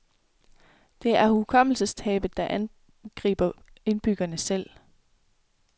Det er hukommelsestabet, der angriber indbyggerne selv.